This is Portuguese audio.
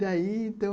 Daí, então...